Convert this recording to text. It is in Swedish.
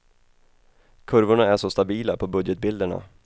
Kurvorna är så stabila på budgetbilderna.